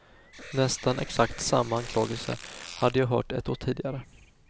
Nästan exakt samma anklagelse hade jag hört ett år tidigare.